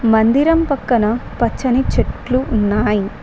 మందిరం పక్కన పచ్చని చెట్లు ఉన్నాయి.